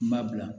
N b'a bila